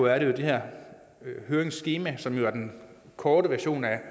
at i det her høringsskema som jo er den korte version af